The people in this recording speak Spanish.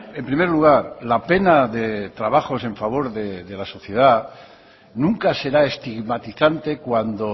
en primer lugar la pena de trabajos en favor de la sociedad nunca será estigmatizante cuando